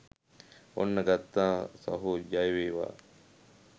ඔන්න ගත්තා සහෝ ජයවේවා